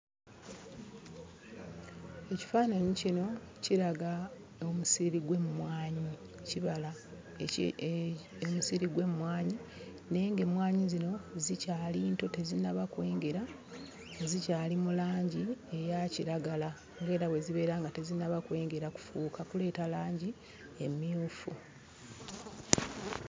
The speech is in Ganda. Ekifaananyi kino kiraga omusiri gw'emmwanyi, kibala eki omusiri gw'emmwanyi naye ng'emmwanyi zino zikyali nto tezinnaba kwengera; zikyali mu langi eya kiragala ng'era bwe zibeera nga tezinnaba kwengera kufuuka kuleeta langi emmyufu.